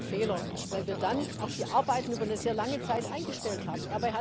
Und das war ein Fehler, weil wir dann auch die Arbeiten über eine sehr lange Zeit eingestellt haben.